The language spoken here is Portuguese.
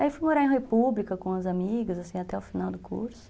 Aí fui morar em República com as amigas, assim, até o final do curso.